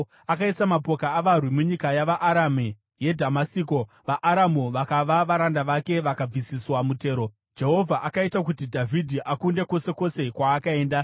Akaisa mapoka avarwi munyika yavaAramu yeDhamasiko, vaAramu vakava varanda vake vakabvisiswa mutero. Jehovha akaita kuti Dhavhidhi akunde kwose kwose kwaakaenda.